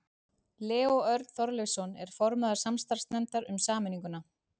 Leó Örn Þorleifsson er formaður samstarfsnefndar um sameininguna.